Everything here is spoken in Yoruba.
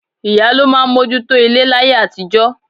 Ìyá ló máa mójú tó ilé láyé àtijọ́